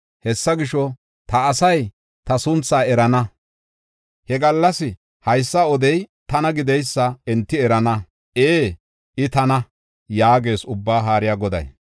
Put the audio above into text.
Hessa gisho, ta asay ta sunthaa erana; he gallas haysa odey tana gideysa enti erana; ee, I tana” yaagees Ubbaa Haariya Goday.